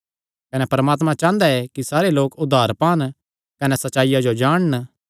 कने परमात्मा चांह़दा ऐ कि सारे लोक उद्धार पान कने सच्चाईया जो जाणन